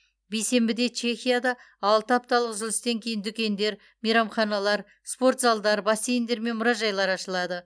бейсенбіде чехияда алты апталық үзілістен кейін дүкендер мейрамханалар спортзалдар бассейндер мен мұражайлар ашылады